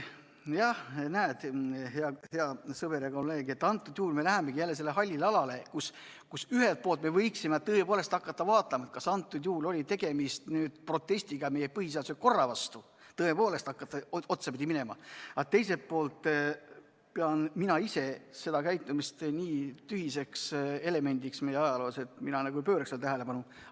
Jah, näed, hea sõber ja kolleeg, nüüd me lähemegi jälle sellisele hallile alale, kus ühelt poolt me võiksime tõesti hakata vaatama, kas konkreetsel juhul oli tegemist protestiga meie põhiseadusliku korra vastu – tõepoolest, kui hakata otsapidi minema –, aga teiselt poolt pean mina ise seda käitumist nii tühiseks elemendiks meie ajaloos, et ma ei pööraks sellele erilist tähelepanu.